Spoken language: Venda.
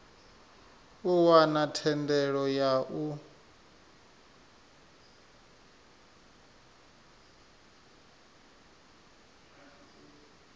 u wana thendelo ya u